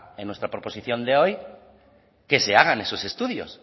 en nuestra proposición de hoy que se hagan esos estudios